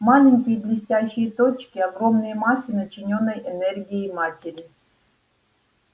маленькие блестящие точки огромные массы начинённой энергией матери